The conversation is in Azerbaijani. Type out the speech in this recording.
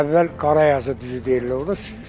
Əvvəl Qarayasız düzü deyirlər orda.